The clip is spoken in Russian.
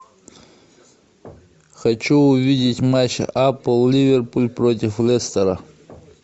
хочу увидеть матч апл ливерпуль против лестера